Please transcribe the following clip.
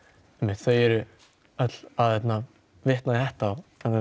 þau eru öll að vitna í þetta